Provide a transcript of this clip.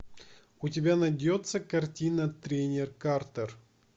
у тебя найдется картина тренер картер